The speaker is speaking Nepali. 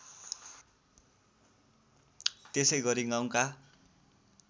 त्यसै गरी गाउँका